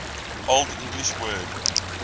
old english word